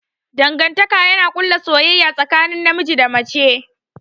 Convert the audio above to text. Dangantaka yana ƙulla soyayya tsakanin namiji da mace.